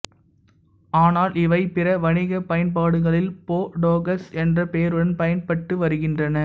ஆனால் இவை பிற வணிக பயன்பாடுகளில் போடோக்ஸ் என்ற பெயருடன் பயன்பட்டு வருகின்றன